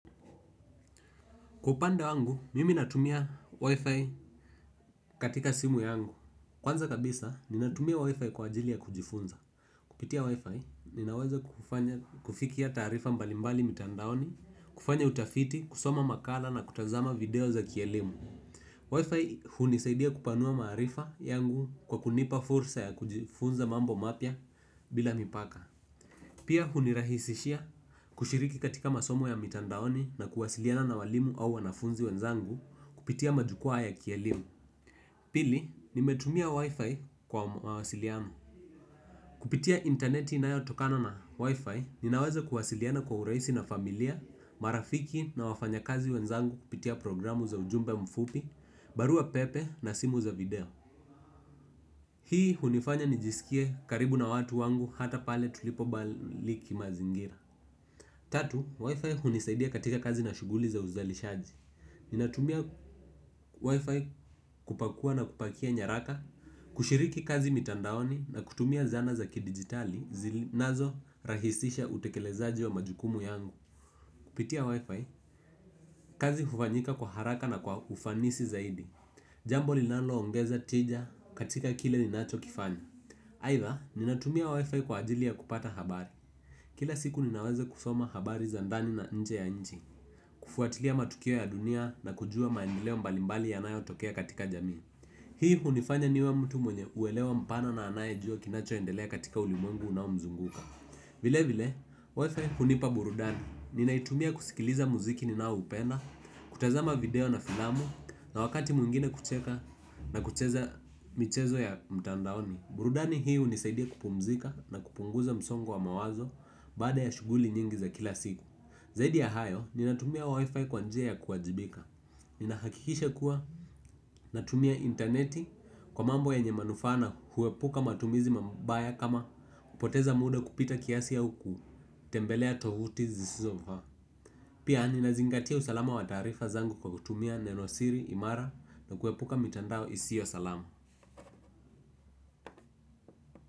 Kwa upande wangu, mimi natumia Wi-Fi katika simu yangu. Kwanza kabisa, ninatumia Wi-Fi kwa ajili ya kujifunza. Kupitia Wi-Fi, ninaweza kufikia taarifa mbalimbali mitandaoni, kufanya utafiti, kusoma makala na kutazama video za kielimu. Wi-Fi hunisaidia kupanua maarifa yangu kwa kunipa fursa ya kujifunza mambo mapya bila mipaka. Pia hunirahisishia kushiriki katika masomo ya mitandaoni na kuwasiliana na walimu au wanafunzi wenzangu kupitia majukwaa ya kielimu. Pili, nimetumia wifi kwa mawasiliano. Kupitia interneti inayotokana na wifi, ninaweza kuwasiliana kwa urahisi na familia, marafiki na wafanyakazi wenzangu kupitia programu za ujumbe mfupi, barua pepe na simu za video. Hii hunifanya nijisikie karibu na watu wangu hata pale tulipo mbali kimazingira. Tatu, wifi hunisaidia katika kazi na shughuli za uzalishaji. Ninatumia WiFi kupakua na kupakia nyaraka, kushiriki kazi mitandaoni na kutumia zana za kidijitali zinazorahisisha utekelezaji wa majukumu yangu. Kupitia WiFi, kazi hufanyika kwa haraka na kwa ufanisi zaidi. Jambo linaloongeza tija katika kile ninachokifanya. Aidha, ninatumia wifi kwa ajili ya kupata habari. Kila siku ninaweza kusoma habari za ndani na nje ya nchi. Kufuatilia matukio ya dunia na kujua maendeleo mbalimbali yanayotokea katika jamii. Hii hunifanya niwe mtu mwenye uelewa mpana na anayejua kinachoendelea katika ulimwengu unaomzunguka. Vilevile, WiFi hunipa burudani. Ninaitumia kusikiliza muziki ninaoupenda, kutazama video na filamu na wakati mwingine kucheka na kucheza michezo ya mtandaoni. Burudani hii hunisaidia kupumzika na kupunguza msongo wa mawazo. Baada ya shughuli nyingi za kila siku zaidi ya hayo, ninatumia wi-fi kwa njia ya kuwajibika. Ninahakikisha kuwa, natumia interneti kwa mambo yenye manufaa na huepuka matumizi mambaya kama kupoteza muda kupita kiasi au kutembelea tovuti zisizofaa. Pia, ninazingatia usalama wa taarifa zangu kwa kutumia neno siri imara na kuepuka mitandao isiyo salama.